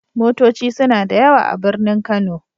Motoci suna da yawa a birnin Kano.